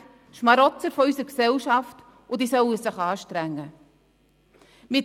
Sie seien Schmarotzer unserer Gesellschaft, die sich anstrengen sollen.